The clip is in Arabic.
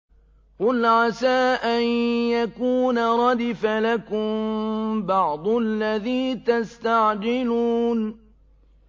قُلْ عَسَىٰ أَن يَكُونَ رَدِفَ لَكُم بَعْضُ الَّذِي تَسْتَعْجِلُونَ